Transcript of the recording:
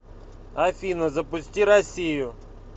афина запусти россию